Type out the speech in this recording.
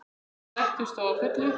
Þeir sættust þó að fullu.